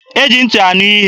E ji ntị anụ ihe.